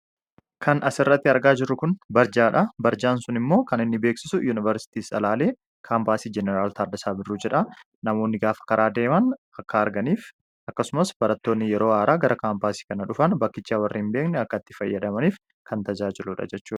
Kan as irratti argaa jiru kun barjaadha .Barjaan sun immoo kan inni beeksisu yuunivarsitii salaalee kaampaasii Janaraal Taardasaa birruu dha. Namoonni gaafa karaa deeman akka arganiif akkasumas barattoonni yeroo haaraa gara kaampaasii kana dhufan, bakkichaa warri hin beekni akka tti fayyadamaniif kan tajaajiludha jechuudha.